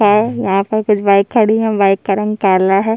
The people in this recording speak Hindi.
हैं यहाँ पर कुछ बाइक खड़ी है बाइक का रंग काला है।